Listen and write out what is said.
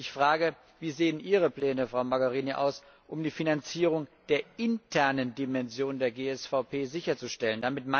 Ich frage Wie sehen Ihre Pläne, Frau Mogherini, aus, um die Finanzierung der internen Dimension der GSVP sicherzustellen?